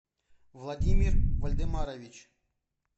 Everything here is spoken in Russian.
владимир вольдемарович